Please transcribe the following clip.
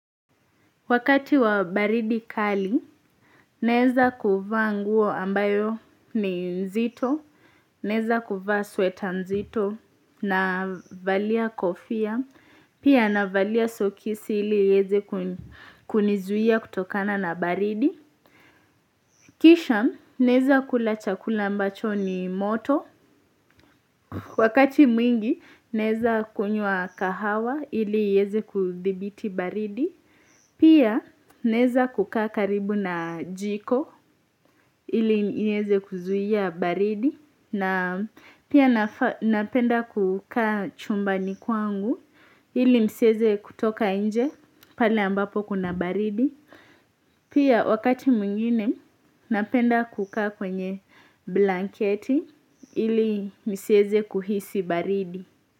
Wakati wa baridi kali, naeza kuvaa nguo ambayo ni nzito, naeza kuvaa sweta nzito navalia kofia, pia navalia sokisi ili ieze kunizuia kutokana na baridi. Kisha, naeza kula chakula ambacho ni moto, wakati mwingi naeza kunywa kahawa ili iyeze kudhibiti baridi. Pia naeza kuka karibu na jiko ili nieze kuzuia baridi na pia napenda kukaa chumbani kwangu ili nsieze kutoka nje pale ambapo kuna baridi. Pia wakati mwingine napenda kukaa kwenye blanketi ili nisieze kuhisi baridi.